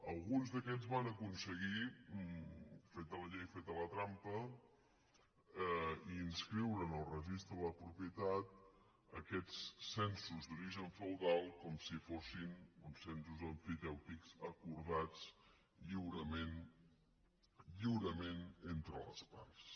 alguns d’aquests van aconseguir feta la llei feta la trampa inscriure en el registre de la propietat aquests censos d’origen feudal com si fossin censos emfitèutics acordats lliurement entre les parts